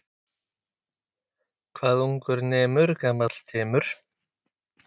Þeir segja á Englandi sé mjög erfitt vegna pressu fjölmiðla.